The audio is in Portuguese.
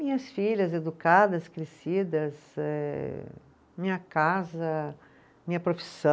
Minhas filhas educadas, crescidas, eh minha casa, minha profissão,